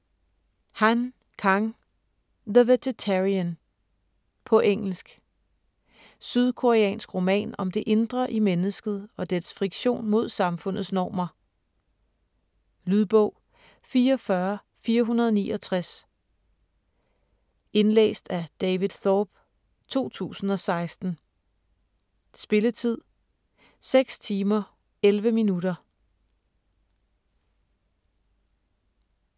Han, Kang: The vegetarian På engelsk. Sydkoreansk roman om det indre i mennesket og dets friktion mod samfundets normer. Lydbog 44469 Indlæst af David Thorpe, 2016. Spilletid: 6 timer, 11 minutter.